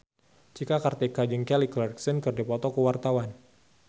Cika Kartika jeung Kelly Clarkson keur dipoto ku wartawan